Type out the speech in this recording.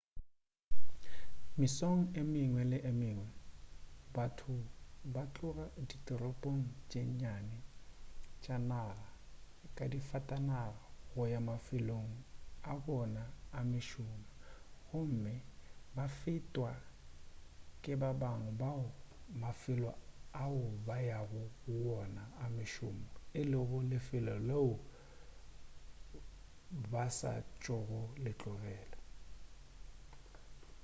mesong e mengwe le e mengwe batho ba tloga ditoropong tše nnyane tša naga ka disafatanaga go ya mafelong a bona a mešomo gomme ba fetwa ke ba bangwe bao mafelo ao ba yago go wona a mošomo e lego lefelo leo ba sa tšogo letlogela